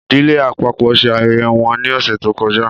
Ìdílé àpapọ ṣe ayẹyẹ wọn ni ọsẹ to kọjá